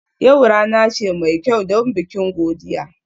Yau rana ce mai kyau don bikin godiya?